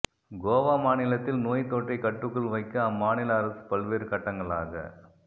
கோவா மாநிலத்தில் நோய் தொற்றை கட்டுக்குள் வைக்க அம்மாநில அரசு பல்வேறு கட்டங்களாக